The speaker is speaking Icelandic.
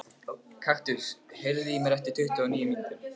Kaktus, heyrðu í mér eftir tuttugu og níu mínútur.